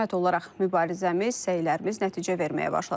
Hökumət olaraq mübarizəmiz, səylərimiz nəticə verməyə başladı.